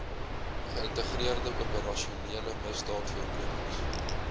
geïntegreerde operasionele misdaadvoorkomings